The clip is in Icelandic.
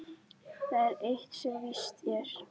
Það er eitt sem víst er.